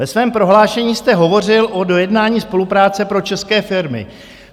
Ve svém prohlášení jste hovořil o dojednání spolupráce pro české firmy.